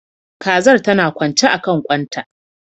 Kazar tana kwance akan kwan ta